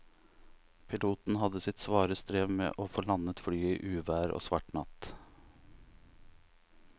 Piloten hadde sitt svare strev med å få landet flyet i uvær og svart natt.